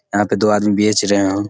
यहाँ पे दो आदमी बेच रहे है ।